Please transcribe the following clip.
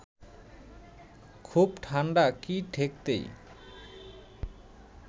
খুব ঠান্ডা কি ঠেকতেই